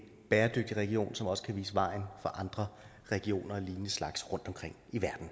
bæredygtig region som også kan vise vejen for andre regioner af lignende slags rundtomkring